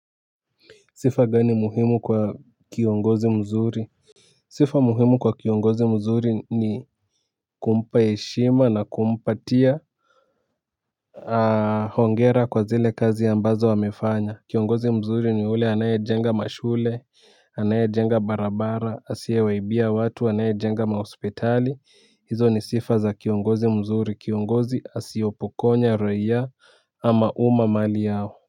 Sifa gani muhimu kwa kiongozi mzuri. Sifa muhimu kwa kiongozi mzuri ni kumpa heshima na kumpatia hongera kwa zile kazi ya mbazo amefanya. Kiongozi mzuri ni yule anaye jenga mashule anaye jenga barabara asiye waibia watu anaye jenga mahospitali hizo ni sifa za kiongozi mzuri kiongozi asiopokonya roya ama uma mali yao.